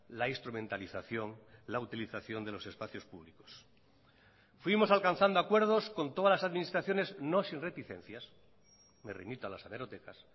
la instrumentalización la utilización de los espacios públicos fuimos alcanzando acuerdos con todas las administraciones no sin reticencias me remito a las hemerotecas